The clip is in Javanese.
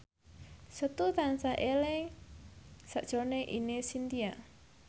Setu tansah eling sakjroning Ine Shintya